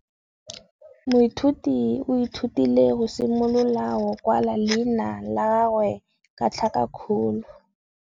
Moithuti o ithutile go simolola go kwala leina la gagwe ka tlhakakgolo.